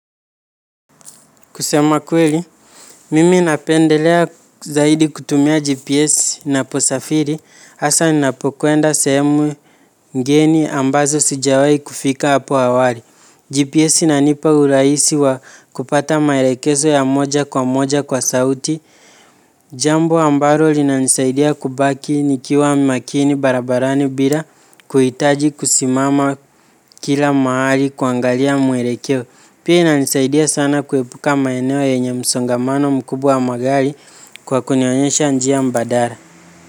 Kusema kweli, mimi napendelea zaidi kutumia GPS ninaposafiri, asa ninapokwenda sehemu ngeni ambazo sijawai kufika hapo awali. GPS inanipa uraisi wa kupata maelekezo ya moja kwa moja kwa sauti, jambo ambaro linanisaidia kubaki nikiwa makini barabarani bila kuhitaji kusimama kila maali kuangalia mwelekeo. Pia inanisaidia sana kuepuka maeneo yenye msongamano mkubwa wa magali kwa kunionyesha njia mbadara.